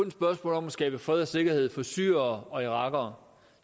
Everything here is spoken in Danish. et spørgsmål om at skabe fred og sikkerhed for syrere og irakere